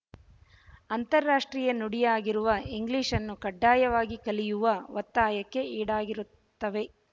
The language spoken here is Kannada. ಅಂತರರಾಷ್ಟ್ರೀಯ ನುಡಿಯಾಗಿರುವ ಇಂಗ್ಲಿಶ್‌ನ್ನು ಕಡ್ಡಾಯವಾಗಿ ಕಲಿಯುವ ಒತ್ತಾಯಕ್ಕೆ ಈಡಾಗಿರುತ್ತವೆ